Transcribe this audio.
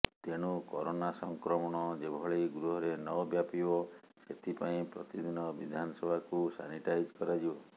ତେଣୁ କରୋନା ସଂକ୍ରମଣ ଯେଭଳି ଗୃହରେ ନ ବ୍ୟାପିବ ସେଥିପାଇଁ ପ୍ରତିଦିନ ବିଧାନସଭାକୁ ସାନିଟାଇଜ୍ କରାଯିବ